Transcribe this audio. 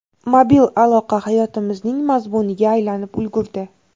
Mobil aloqa hayotimizning mazmuniga aylanib ulgurdi.